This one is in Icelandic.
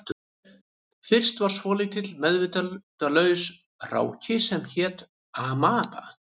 Fyrst var svolítill meðvitundarlaus hráki sem hét amaba